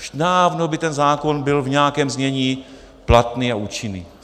Už dávno by ten zákon byl v nějakém znění platný a účinný.